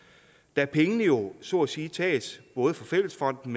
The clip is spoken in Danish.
da pengene jo så at sige tages både fra fællesfonden